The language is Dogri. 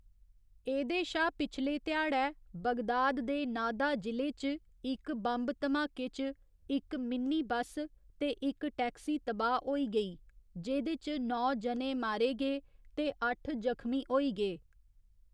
एह्दे शा पिछले ध्या़ड़ै, बगदाद दे नाहदा जि'ले च इक बम्ब धमाके च इक मिनी बस्स ते इक टैक्सी तबाह् होई गेई, जेह्दे च नौ जने मारे गे ते अट्ठ जख्मी होई गे।